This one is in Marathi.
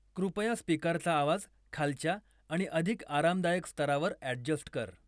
कृपया स्पिकरचा आवाज खालच्या आणि अधिक आरामदायक स्तरावर ॲडजस्ट कर